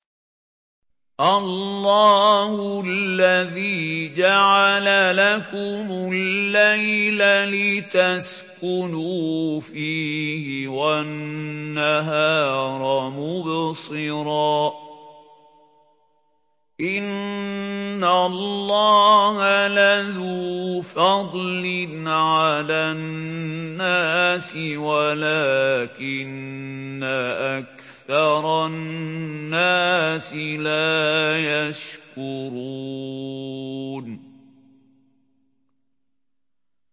اللَّهُ الَّذِي جَعَلَ لَكُمُ اللَّيْلَ لِتَسْكُنُوا فِيهِ وَالنَّهَارَ مُبْصِرًا ۚ إِنَّ اللَّهَ لَذُو فَضْلٍ عَلَى النَّاسِ وَلَٰكِنَّ أَكْثَرَ النَّاسِ لَا يَشْكُرُونَ